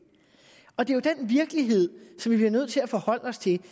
og det er den virkelighed som vi bliver nødt til at forholde os til det